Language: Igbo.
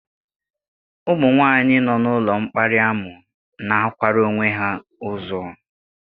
Ụmụ nwanyị nọ n'ụlọ mkparị̀ amụ na-akwara onwe ha uzww